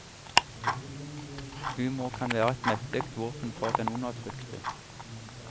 Humor kan være et mektig våpen for den undertrykte.